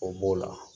O b'o la